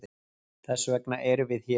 Þessvegna eru við hér.